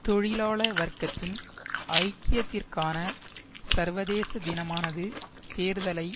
தொழிலாள வர்க்கத்தின் ஐக்கியத்திற்கான சர்வதேச தினமானது தேர்தலை